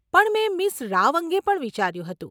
પણ મેં મીસ રાવ અંગે પણ વિચાર્યું હતું.